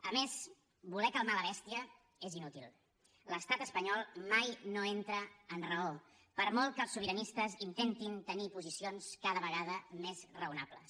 a més voler calmar la bèstia és inútil l’estat espanyol mai no entra en raó per molt que els sobiranistes intentin tenir posicions cada vegada més raonables